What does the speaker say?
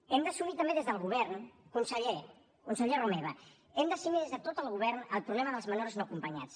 hem d’assumir també des del govern conseller conseller romeva hem d’assumir des de tot el govern el problema dels menors no acompanyats